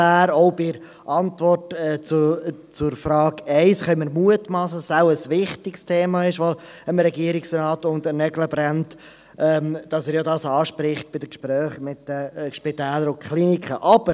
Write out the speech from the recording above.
Auch die Antwort zur Frage 1 lässt vermuten, dass das Thema dem Regierungsrat wichtig ist und ihn unter den Nägeln brennt, denn er spricht die Verhandlungen mit den Spitälern und Kliniken an.